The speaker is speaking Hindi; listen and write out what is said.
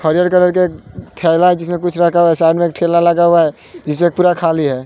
हरियर कलर के थैला है जिसमें कुछ रखा है साइड में एक ठेला लगा हुआ है जिसमें पूरा खाली है।